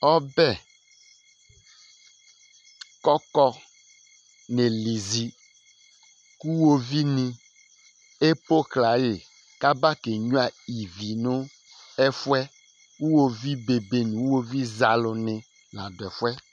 Ɔbɛ kʋ ɔkɔ nelizi kʋ ʋwovi ni epoɣla yi kʋ aba kenyʋa ívì nʋ ɛfʋɛ Ʋwovi be be nʋ ʋwovi zɛ alu ni la du ɛfʋɛ